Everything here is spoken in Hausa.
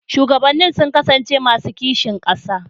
Shugabannin sun kasance masu kishin ƙasa.